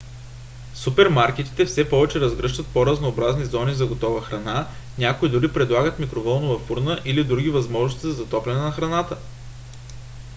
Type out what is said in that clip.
супермаркетите все повече разгръщат по-разнообразни зони за готова храна. някои дори предлагат микровълнова фурна или други възможности за затопляне на храната